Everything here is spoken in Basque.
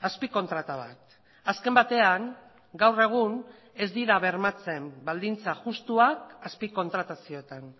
azpikontrata bat azken batean gaur egun ez dira bermatzen baldintza justuak azpikontratazioetan